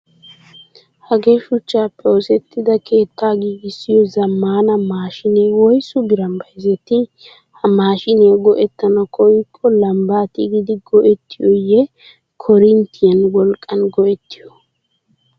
Hagee shuchchappe oosettida keettaa gigissiyoo zammana maashiine woyisu biraan bayizettii? Ha maashiiniyaa go''ettana koyyikko lambba tigidi go'ettiyoyyee koorinttiyan wolqqan go''ettiyoo?